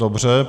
Dobře.